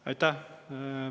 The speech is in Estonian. Aitäh!